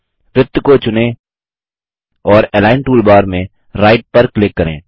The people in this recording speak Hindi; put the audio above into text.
वृत्त को चुनें और अलिग्न टूलबार में राइट पर क्लिक करें